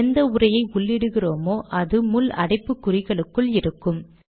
எந்த உரையை உள்ளிடுகிறோமோ அது முள் அடைப்புக்குறிகளுக்குள் இருக்கும்